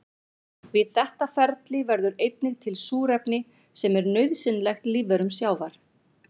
Við þetta ferli verður einnig til súrefni sem er nauðsynlegt lífverum sjávar.